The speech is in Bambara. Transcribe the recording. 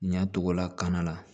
Ɲɛ togo la kana la